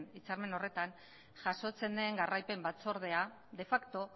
hitzarmen horretan jasotzen den jarraipen batzordea de fakto